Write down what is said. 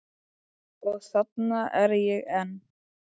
Og þarna er ég enn.